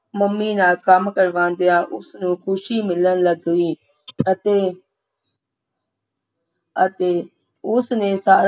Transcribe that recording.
mummy ਨਾਲ ਕੰਮ ਕਰਵਾਉਂਦਿਆਂ ਉਸ ਨੂੰ ਖ਼ੁਸ਼ੀ ਮਿਲਣ ਲੱਗ ਪਈ ਅਤੇ ਅਤੇ ਉਸ ਨੇ ਸਾਰੇ